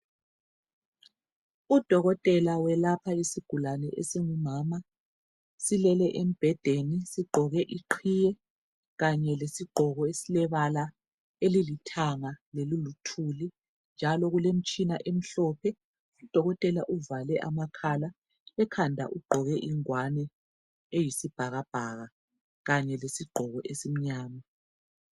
Udokotela welapha isigulane esingumama silele embhedeni sigqoke iqhiye kanye lesigqoko esilebala elilithanga leliluthuli njalo kulemitshina emhlophe. Udokotela uvale amakhala ekhanda ugqoke ingwane eyisibhakabhaka kanye lesigqoko esimnyama.